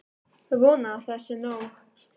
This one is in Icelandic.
Vona að það sé nóg.